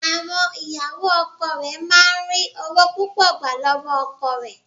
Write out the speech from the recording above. Àwọn ìyàwó ọkọ rẹ̀ máà ń ri ọwọ́ púpọ̀ gbà lọ́wọ́ ọkọ rẹ̀.